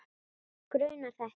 Grunað þetta?